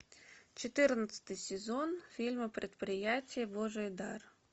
четырнадцатый сезон фильма предприятие божий дар